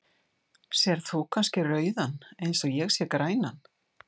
Sérð þú kannski rauðan eins og ég sé grænan?.